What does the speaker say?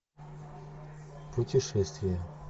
путешествия